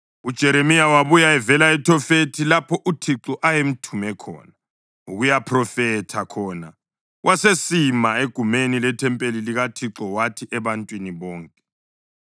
UJeremiya wabuya evela eThofethi, lapho uThixo ayemthume ukuyaphrofetha khona, wasesima egumeni lethempeli likaThixo wathi ebantwini bonke,